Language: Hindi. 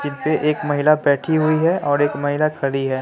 जीनपे एक महिला बैठी हुई है और एक महिला खड़ी है।